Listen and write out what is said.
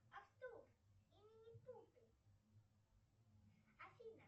артур и минипуты афина